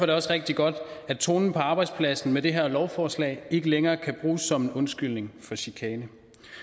det også rigtig godt at tonen på arbejdspladsen med det her lovforslag ikke længere kan bruges som en undskyldning for chikane